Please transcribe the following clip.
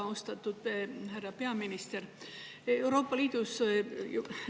Väga austatud härra peaminister!